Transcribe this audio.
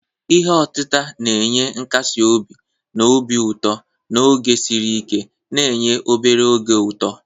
Ihe otita na-enye nkasi obi na obi ụtọ n'oge siri ike, na-enye obere oge ụtọ.